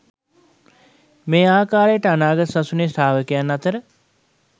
මේ ආකාරයට අනාගත සසුනේ ශ්‍රාවකයන් අතර